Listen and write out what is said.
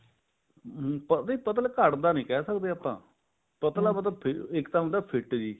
ਹੁਣ ਤਾਂ ਵੀ ਮਤਲਬ ਘਟਦਾ ਨੀ ਕਹਿ ਸਕਦੇ ਆਪਾਂ ਪਤਲਾ ਮਤਲਬ ਇੱਕ ਤਾਂ ਹਹੁੰਦਾ fit ਜੀ